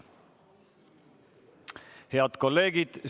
Head kolleegid!